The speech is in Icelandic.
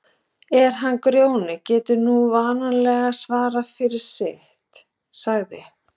En hann Grjóni getur nú vanalega svarað fyrir sitt, sagði